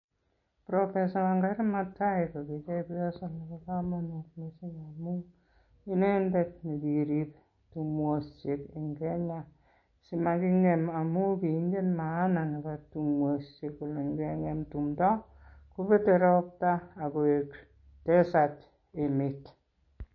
Professor Wangari Maathai kogi chepyoso nebo komonut missing, amun inendet nekirib timwosiek en Kenya simakingem. Amun kiingen maana nebo timwosiek kole ingeng'em timdo kobete ropta ak koik desert emet.